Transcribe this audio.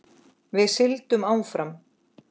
Við sigldum áfram.